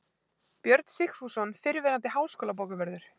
Björn Sigfússon, fyrrverandi háskólabókavörður